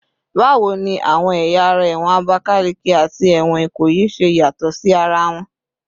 Bawo ni awọn ẹya ara ẹwọn Abakaleke ati ẹwọn Ikoyi ṣe yatọ si ara wọn?